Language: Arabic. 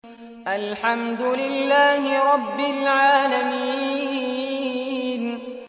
الْحَمْدُ لِلَّهِ رَبِّ الْعَالَمِينَ